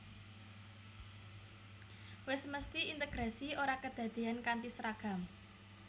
Wis mesthi integrasi ora kedadéyan kanthi seragam